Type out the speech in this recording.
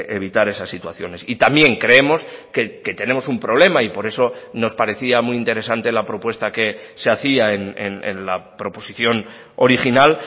evitar esas situaciones y también creemos que tenemos un problema y por eso nos parecía muy interesante la propuesta que se hacía en la proposición original